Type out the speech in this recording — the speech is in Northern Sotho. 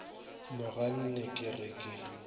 mo ganne ke re ke